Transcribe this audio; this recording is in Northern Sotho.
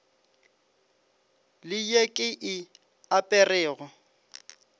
le ye ke e aperego